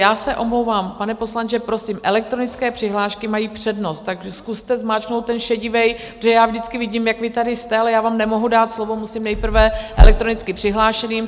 Já se omlouvám, pane poslanče, prosím, elektronické přihlášky mají přednost, tak zkuste zmáčknout ten šedivý, protože já vždycky vidím, jak vy tady jste, ale já vám nemohu dát slovo, musím nejprve elektronicky přihlášeným.